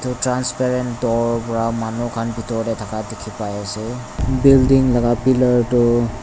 transparent door wa manu khan bitor tey thaka dikhi pai ase building laga pillar tu.